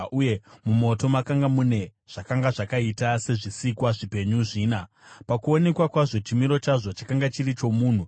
uye mumoto makanga mune zvakanga zvakaita sezvisikwa zvipenyu zvina. Pakuonekwa kwazvo, chimiro chazvo chakanga chiri chomunhu,